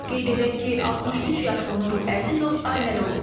Qeyd edək ki, 63 yaşlı Nuru Əzizov ailəli olub.